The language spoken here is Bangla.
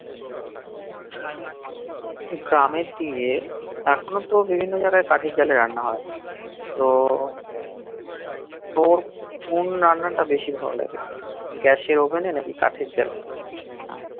গ্রামের কি রে এখন তো বিভিন্ন জাইগাই কাঠের জালে রান্না হই তো তোর কোন রান্না টা বেশি ভাল লাগে গ্যাসের ওভেন নাকি কাঠের জালে?